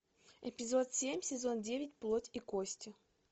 эпизод семь сезон девять плоть и кости